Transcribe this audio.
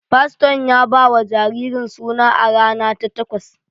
Faston ya ba wa jaririn suna a rana ta takwas